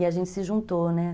E a gente se juntou, né?